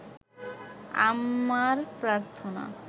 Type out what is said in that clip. আমার প্রার্থনা